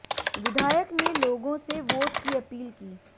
विधायक ने लोगों से वोट की अपील की